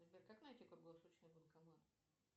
сбер как найти круглосуточный банкомат